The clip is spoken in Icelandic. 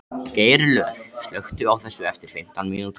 Geirlöð, slökktu á þessu eftir fimmtán mínútur.